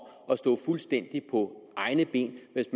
at stå fuldstændig på egne ben hvis